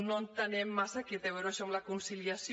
no entenem massa què té a veure això amb la conciliació